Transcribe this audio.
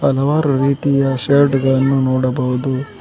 ಹಲವಾರು ರೀತಿಯ ಶರ್ಟ್ ಗಳನ್ನು ನೋಡಬಹುದು.